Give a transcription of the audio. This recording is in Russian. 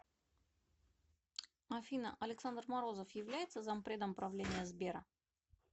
афина александр морозов является зампредом правления сбера